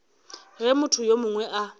ge motho yo mongwe a